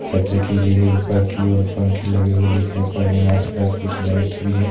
सज्जा की गई है ऊपर की और पंखे लगे हुए दिखाई पड़ रहे हैं आस-पास कुछ लाइट्स भी हैं ।